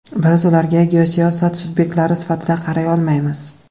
Biz ularga geosiyosat subyektlari sifatida qaray olmaymiz.